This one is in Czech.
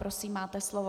Prosím, máte slovo.